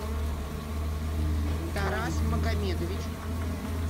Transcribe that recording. тарас магомедович